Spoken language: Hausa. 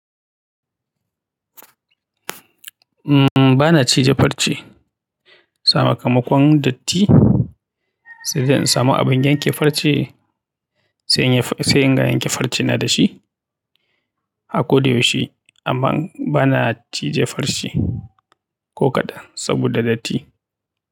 Umm, bana cije farce sa kamakon datti, sai da in samu abin ganye farce sai in, sai inga yanke farce na da shi a ko da yaushe. Amma bana cije farce ko kaɗan saboda datti.